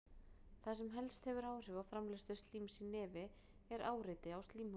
Það sem helst hefur áhrif á framleiðslu slíms í nefi er áreiti á slímhúðina.